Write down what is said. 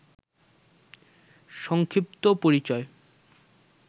সংক্ষিপ্ত পরিচয়